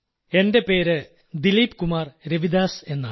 എന്റെ പേര് ദിലീപ് കുമാർ രവിദാസ് എന്നാണ്